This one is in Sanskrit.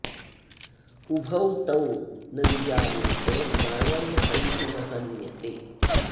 उभौ तौ न विजानीतो नायं हन्ति न हन्यते